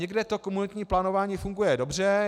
Někde to komunitní plánování funguje dobře.